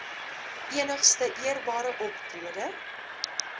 enigste eerbare optrede